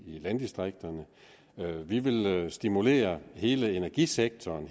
landdistrikterne vi vil stimulere hele energisektoren